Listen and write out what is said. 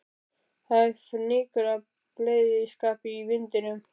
Það er fnykur af bleyðiskap í vindinum.